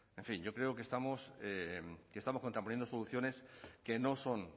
en fin yo creo que estamos contraponiendo soluciones que no son